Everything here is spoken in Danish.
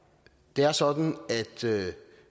det er sådan at